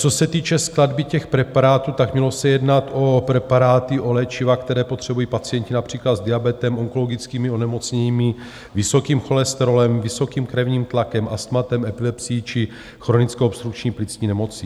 Co se týče skladby těch preparátů, tak mělo se jednat o preparáty, o léčiva, která potřebují pacienti například s diabetem, onkologickými onemocněními, vysokým cholesterolem, vysokým krevním tlakem, astmatem, epilepsií či chronickou obstrukční plicní nemocí.